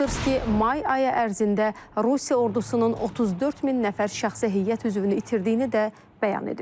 Sırski may ayı ərzində Rusiya ordusunun 34 min nəfər şəxsi heyət üzvünü itirdiyini də bəyan edib.